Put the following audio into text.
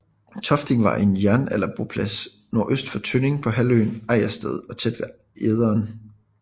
Tofting var en jernalderboplads nordøst for Tønning på halvøen Ejdersted og tæt ved Ejderen